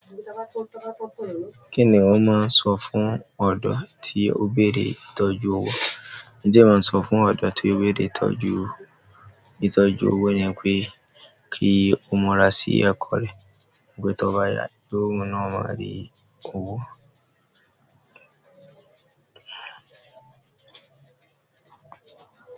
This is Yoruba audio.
Kí ni wọ́n máa ń sọ fún ọ̀dọ́ tí ó bẹ̀rẹ ìtọ́jú ọwọ? Ntì ẹẹ mọ sọ fún ọ̀dọ tí ó bẹ̀rẹ̀ ìtọ́jú, ìtọ́jú òwó yèn pé kí ó mùrà sí ẹ̀kọ́ rẹ̀, pé tó bá yà pẹ òwùn náà, ó máa rí owó.